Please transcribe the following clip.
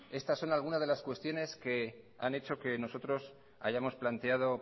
estas son algunas de las cuestiones que han hecho que nosotros hayamos planteado